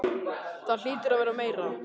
Það hlýtur að vera meira.